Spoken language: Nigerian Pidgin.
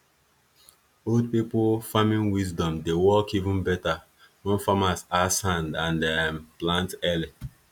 old people farming wisdom dey work even better when farmers add sand and um plant early